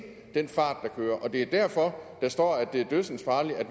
den fart man kører og det er derfor der står at det er dødsensfarligt at